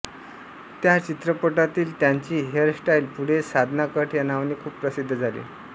त्या चित्रपटातील त्यांची हेअरस्टाईल पुढे साधना कट या नावाने खूप प्रसिद्ध झाली